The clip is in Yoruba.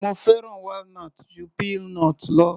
Mo fẹ́ràn walnut ju peanut.